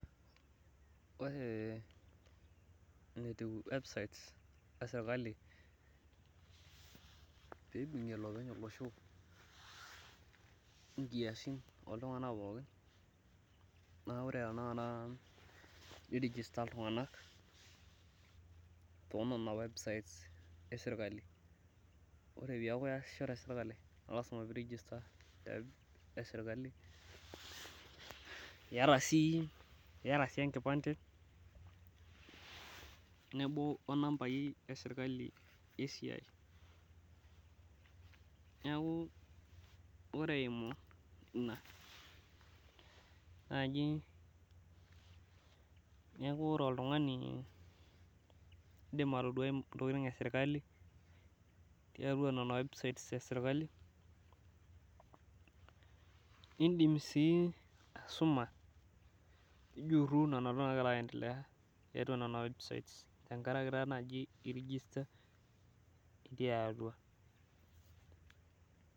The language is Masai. Ore enetiu websites e serikali piibung'ie iloopeny olosho inkiasin ooltung'anak pookin. Naa ore tenakata nirigista iltung'anak too nena websites e serikali. Ore peeku iyasisho te serikali naa lazima peeku iregista web e serikali iyata sii, iyata sii enkipande tenebo nambai e serikali e siai. Neeku ore eimu naji, neeku ore oltung'ani indim atodua ntokiting e serikali too nena websites e serikali. Iindim siin aisuma nijurru nena naagira aendelea tiatwa nena websites tenkaraki taa naji irigista itii atwa